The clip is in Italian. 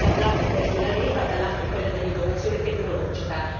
Da un lato questa è la leva, dall'altro è quella dell'innovazione tecnologica.